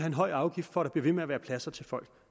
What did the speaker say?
en høj afgift for at der bliver ved med at være pladser til folk